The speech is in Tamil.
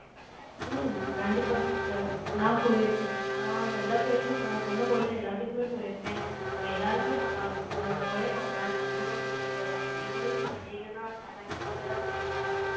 ம், கண்டிப்பா sister, நான் போய் இருக்கேன். நான் எல்லா கோயிலுக்கும், நான் சொன்ன கோயில், எல் லாத்துக்குமே போயிருக்கேன். நாங்க எல்லாருமே நல்லா இருக்கோம். உங்களையும், நான் ஒரு நாள் கண்டிப்பா கூட்டிட்டு போறேன். நீங்களும் இங்கே வந்தீங்கன்னா, செம enjoy ஆ இருப்பீங்க.